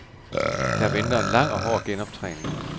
Der venter en lang og hård genoptræning.